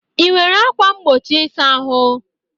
Ị nwere ákwà mgbochi ịsa ahụ?